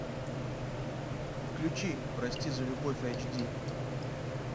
включи прости за любовь эйч ди